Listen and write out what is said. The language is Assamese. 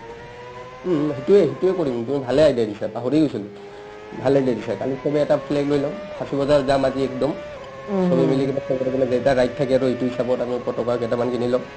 উম্ উম্ সিটোৱে সিটোৱে কৰিম তুমি ভালেই idea দিছা পাহৰিয়ে গৈছিলো ভাল idea দিছা কালি চবে এটা flag লৈ ল'ম ফাছি বজাৰ যাম আজি একদম চবে মিলি কিনে সিটো হিচাপত আমি পতকা কেটামান কিনি ল'ম